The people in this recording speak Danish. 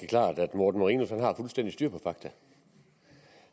morten marinus har fuldstændig styr på fakta